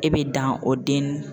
E bɛ dan o den